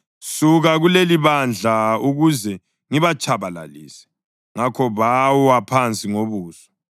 “Suka kulelibandla ukuze ngibatshabalalise.” Ngakho bawa phansi ngobuso.